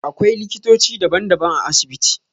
Akwailiktoci daban daban a asibiti